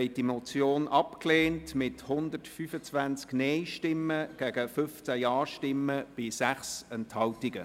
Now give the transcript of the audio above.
Sie haben die Motion mit 125 Nein-Stimmen abgelehnt, gegen 15 Ja-Stimmen und 6 Enthaltungen.